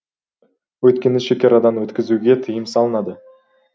өйткені шекарадан өткізуге тыйым салынады